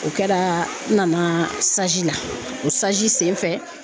O kɛra n nana la o sen fɛ